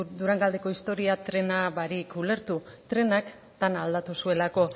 durangaldeko historia trena barik ulertu trenak dena aldatu zuelako